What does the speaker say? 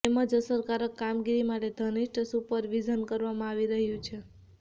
તેમજ અસરકારક કામગીરી માટે ધનિષ્ઠ સુપર વિઝન કરવામાં આવી રહ્યું છે